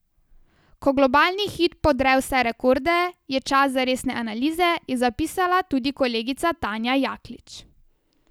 Ko globalni hit podre vse rekorde, je čas za resne analize, je zapisala tudi kolegica Tanja Jaklič.